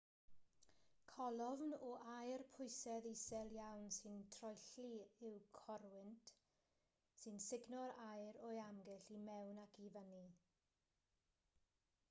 colofn o aer pwysedd isel iawn sy'n troelli yw corwynt sy'n sugno'r aer o'i amgylch i mewn ac i fyny